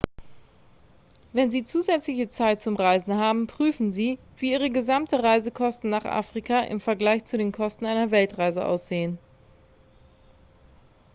wenn sie zusätzliche zeit zum reisen haben prüfen sie wie ihre gesamten reisekosten nach afrika im vergleich zu den kosten einer weltreise aussehen